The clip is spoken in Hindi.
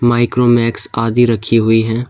माइक्रोमैक्स आदि रखी हुई हैं।